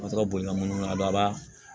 bolimanda